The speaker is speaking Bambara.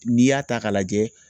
N'i y'a ta k'a lajɛ